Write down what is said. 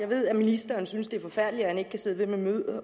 ved at ministeren synes det er forfærdeligt at han ikke kan sidde med